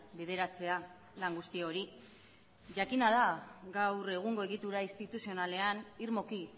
bideratzea lan guzti hori jakina da gaur egungo egitura instituzionalean irmoki